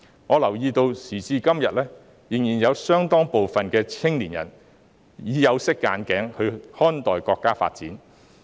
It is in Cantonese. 我留意到時至今天，仍然有相當多青年人帶着有色眼鏡來看待國家發展。